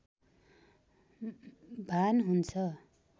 भान हुन्छ